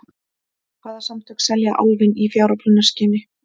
Hvaða samtök selja Álfinn í fjáröflunarskyni?